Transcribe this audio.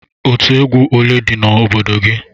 Otú egwu ole dị n'obodo gị?